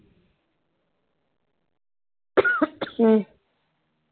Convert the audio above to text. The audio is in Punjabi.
ਹਮ